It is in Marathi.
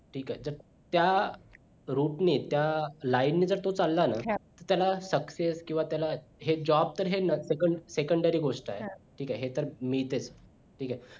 ठीक हाय तर त्या root ने त्या line ने जर तो चाललं ना त्याला success किंवा त्याला हे job तर secondary गोष्ट आहे ठीक आहे मी तर इथे